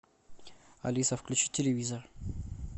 алиса включи телевизор